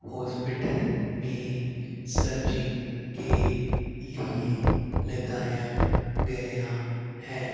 Hospital में searching के लिए लगाया गया है।